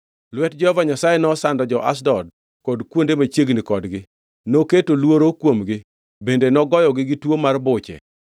Lwet Jehova Nyasaye nosando jo-Ashdod kod kuonde machiegni kodgi, noketo luoro kuomgi, bende nogoyogi gi tuo mar buche.